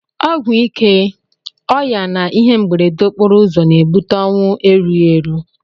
Ọgwụ ike, ọya na ihe mberede okporouzọ na ebute onwu erughi eru.